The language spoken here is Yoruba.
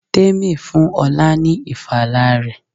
Tèmi fún ọlá ni ìfala rẹ.